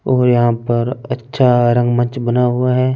और यहा पर अच्छा रंग मंच बना हुआ है ।